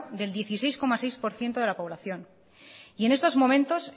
del dieciséis coma seis por ciento de la población y en estos momentos